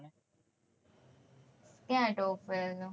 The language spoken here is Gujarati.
કયા હૈ top vale નું